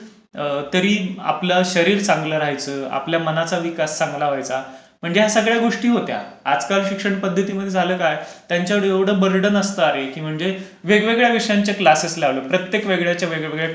तरी आपल शरीर चांगलं राहायच, आपल्या मनाचा विकास चांगला व्हायचा, म्हणजे या सगळ्या गोष्टी होत्या. आजकाल शिक्षन्पध्दतीमध्ये झालं काय त्यांच्यावर एवढं बर्डन असतं, वेगवेगळ्या विषयांचे क्लासेस लावले, प्रत्येक विषयाचे वेगळ्या